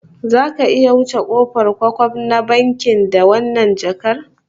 Zaka iya wuce kofar kwkwaf na bankin da wannan jakar?